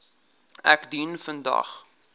ek dien vandag